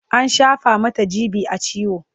an shafa Mata g.b a ciwo